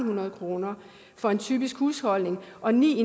hundrede kroner for en typisk husholdning og ni